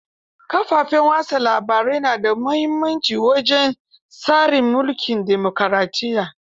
Kafafen watsa labarai na muhimmanci wajen tsarin mulkin demukuraɗiyya.